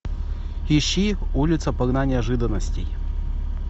ищи улица полна неожиданностей